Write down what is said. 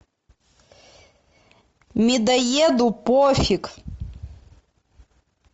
медоеду пофиг